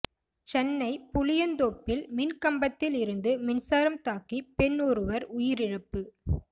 சென்னை புளியந்தோப்பில் மின்கம்பத்தில் இருந்து மின்சாரம் தாக்கி பெண் ஒருவர் உயிரிழப்பு